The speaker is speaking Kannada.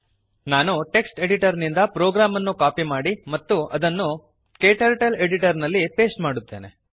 ನಾನು ಟೆಕ್ಸ್ಟ್ ಎಡಿಟರ್ ನಿಂದ ಪ್ರೋಗ್ರಾಮ್ ಅನ್ನು ಕಾಪಿ ಮಾಡುವೆನು ಮತ್ತು ಅದನ್ನು ಕ್ಟರ್ಟಲ್ ಎಡಿಟರ್ ನಲ್ಲಿ ಪೇಸ್ಟ್ ಮಾಡುತ್ತೇನೆ